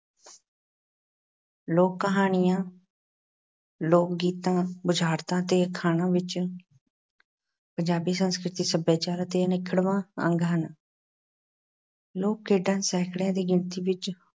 ਲੋਕ-ਕਹਾਣੀਆਂ, ਲੋਕ-ਗੀਤਾਂ, ਬੁਝਾਰਤਾਂ ਅਤੇ ਅਖਾਣਾਂ ਵਿੱਚ ਪੰਜਾਬੀ ਸੰਸਕ੍ਰਿਤੀ, ਸੱਭਿਆਚਾਰ ਅਤੇ ਅਨਿੱਖੜਵਾਂ ਅੰਗ ਹਨ। ਲੋਕ-ਖੇਡਾਂ ਸੈਂਕੜਿਆਂ ਦੀ ਗਿਣਤੀ ਵਿੱਚ